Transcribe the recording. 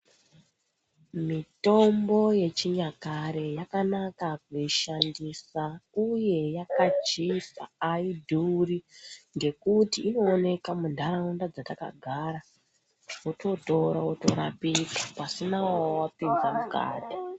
Mitombo yechinyakare yakanaka kuishandisa uye yakachipa aidhuri ngekuti inooneka mundaraunda dzatakagara wototora worapika pasina wawapinza mukati.